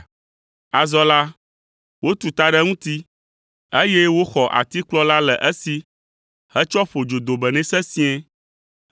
Azɔ la, wotu ta ɖe eŋuti, eye woxɔ atikplɔ la le esi hetsɔ ƒo dzodome nɛ sesĩe.